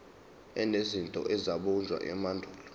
enezinto ezabunjwa emandulo